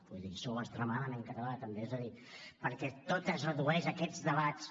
vull dir sou extremadament catalans també és a dir perquè tot es redueix a aquests debats